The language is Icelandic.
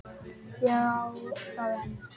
Ég á það enn.